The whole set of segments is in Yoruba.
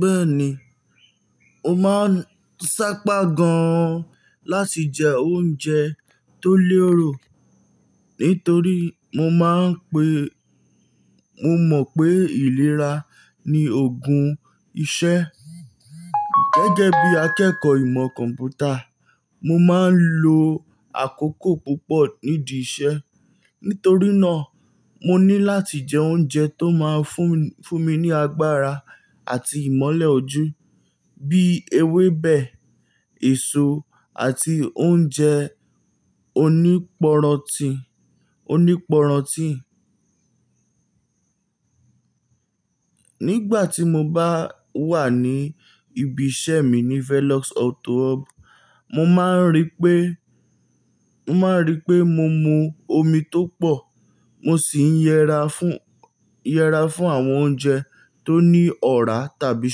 Bẹ́ẹ̀ni, mo máa ń sáápá gan-an láti jẹ oúnjẹ tó léòrò nítorí mó mọ̀ pé ìlera ni ògún iṣẹ́. Gẹ́gẹ́ bí akẹ́kọ̀ọ́ ìmọ̀ kọ̀m̀pútà, mo máa ń lo àkókò púpọ̀ nídi iṣẹ́. Nítorí náà, mo ní láti jẹ oúnjẹ tó máa fún mi ní agbára àti ìmọ́lẹ̀ ojú bí ewébẹ̀, èso àti oúnjẹ oníporonti. Nígbà tí mo bá wà ní ibi iṣẹ́ mi ní Felix Auto Hub, mó máa n rí mo máa ń rí pé mo mú omi tó pọ̀. Mo sì ń yẹra fún àwọn oúnjẹ tó ní ọ̀rá tàbí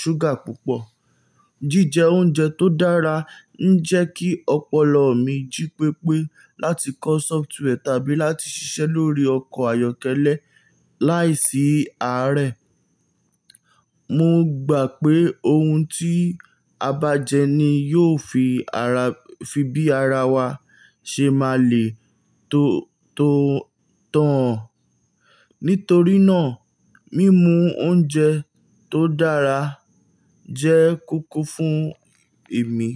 ṣúgà púpọ̀. Jíjẹ oúnjẹ tó dára ń jẹ́ kí ọpọlọ mi jí pépé láti kọ́ sọfítííwẹ̀ tàbí láti ṣiṣẹ́ lórí ọkọ̀ ayọ́kẹ́lẹ́ láìsí àárẹ̀. Mó gbà pé ohùn tí a bá jẹ ní yóò fi bí ara wa ṣe máa lè tó tán. Nítorí náà, mímu oúnjẹ tó dára jẹ́ kúkú fún èmi.